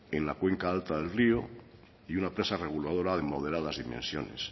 en la cuenca alta del río y una presa reguladora de moderadas dimensiones